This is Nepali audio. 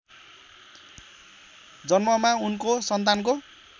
जन्ममा उनको सन्तानको